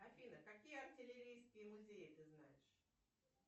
афина какие артиллерийские музеи ты знаешь